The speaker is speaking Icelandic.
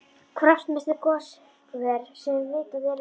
Kraftmesti goshver sem vitað er um var